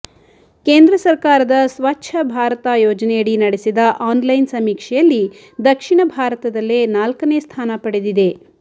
ಕೇಂದ್ರ ಸಕರ್ಾರದ ಸ್ವಚ್ಚ ಭಾರತ ಯೋಜನೆಯಡಿ ನಡೆಸಿದ ಆನ್ಲೈನ್ ಸಮೀಕ್ಷೆಯಲ್ಲಿ ದಕ್ಷಿಣ ಭಾರತದಲ್ಲೇ ನಾಲ್ಕನೇ ಸ್ಥಾನ ಪಡೆದಿದೆ